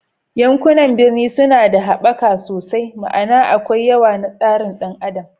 Yankunan birni suna da haɓaka sosai, ma'ana akwai yawa na tsarin ɗan adam